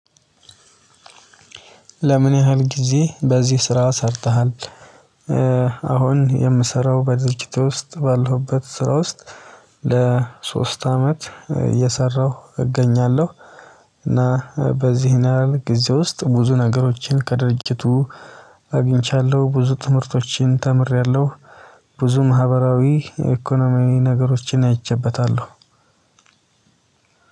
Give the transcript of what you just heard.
ለምን ያህል ጊዜ በዚህ ስራ ሰርተሃል? አሁን የምሰራው በድርጅት ውስጥ ባለሁበት ስራ ውስጥ ለሶስት አመት እየሰራሁ እገኛለሁ። እና በዚህን ያህል ጊዜ ውስጥ ብዙ ነገሮችን ከድርጅቱ አግኝቻለሁ ብዙ ትምህርቶችን ተምሬያለሁ። ብዙ ማህበራዊ የኢኮኖሚያዊ ነገሮችን አይቼበታለሁ።